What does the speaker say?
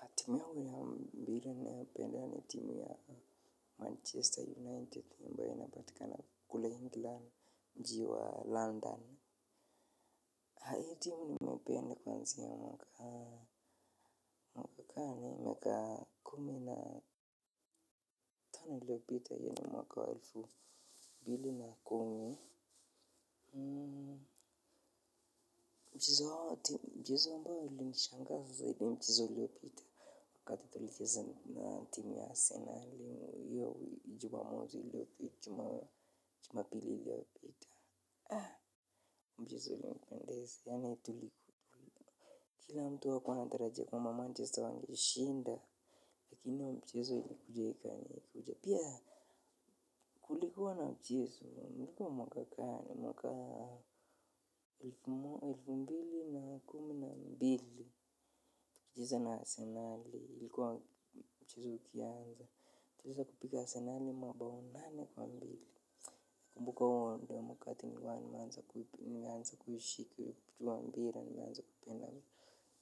Natumia muda wa mpira ninayopenda ni timu ya Manchester United ambayo inapatikana kula England mji wa London. Na hii timu nimeipenda kuanzia mwaka. Mwaka wa mwaka kumi na tana l iliyopita yani mwaka wa elfu mbili na kumi. Hmm. Mchezo ambao ulinishangaza ni mchezo uliopita wakati tulicheza na timu ya asenali. Hiyo jumamosi iliyopita jumapili iliyopita aaa mchezo ulinipendeza yani tuli kila mtu hakuwa anatarajia kwamba manchester wangeshinda lakini mchezo ilikuja ikani kuja pia kulikuwa na mchezo ulikuwa mwaka gani mwaka. Elfu mbili na kumi na mbili tukicheza na asenali ilikuwa mchezo ukianza tuliweza kupiga asenali mabao nane kwa mbili. Nakumbuka huo ndo wakati nilikuwa nimeanza kuipima nianze kushiki ikiwa mpira nianze kupenda